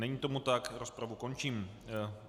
Není tomu tak, rozpravu končím.